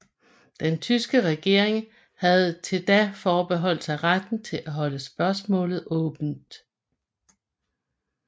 Den tyske regering havde til da forbeholdt sig retten til at holde spørgsmålet åbent